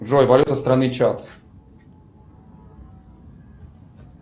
джой валюта страны чад